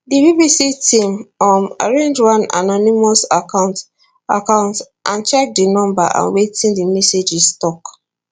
di bbc team um arrange one anonymous account account and check di number and wetin di messages tok